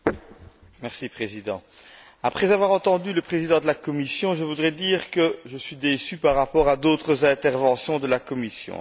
Monsieur le Président, après avoir entendu le Président de la Commission, je voudrais dire que je suis déçu par rapport à d'autres interventions de la Commission.